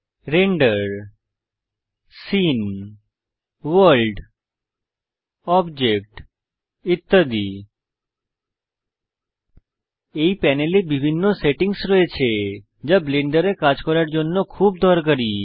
render scene world object ইত্যাদি এই প্যানেলে বিভিন্ন সেটিংস রয়েছে যা ব্লেন্ডারে কাজ করার জন্য খুব দরকারী